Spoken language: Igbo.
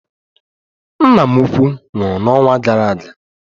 Nna m ukwuu nwụrụ n'ọnwa gara aga